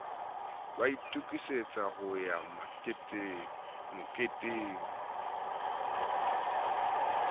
ba itokisetsa ho ya moketeng